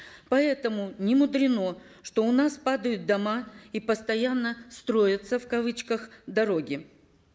поэтому немудрено что у нас падают дома и постоянно строятся в кавычках дороги